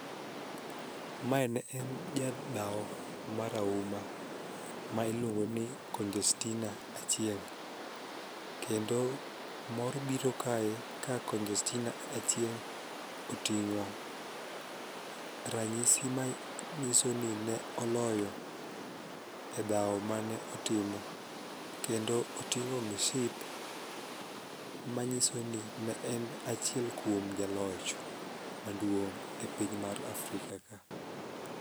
Mae ne en jadhao marahuma ma iluongo ni Congestina Achieng' kendo mor biro kae ka Congestina Achieng' oting'o ranyisi manyiso ni ne oloyo e dhao mane otimo, kendo oting'o mship manyiso ni ne en achiel kuom jaloch maduong' e piny mar Afrika ka.